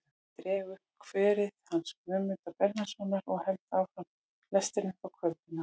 Ég dreg upp kverið hans Guðmundar Bernharðssonar og held áfram lestrinum frá kvöldinu áður.